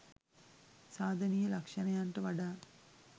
සාධනීය ලක්ෂණයන්ට වඩා